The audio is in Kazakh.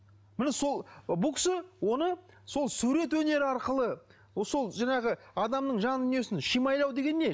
міне сол бұл кісі оны сол сурет өнері арқылы сол жаңағы адамның жан дүниесін шимайлау деген не